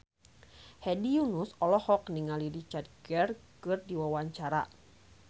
Hedi Yunus olohok ningali Richard Gere keur diwawancara